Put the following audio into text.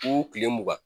U kile mugan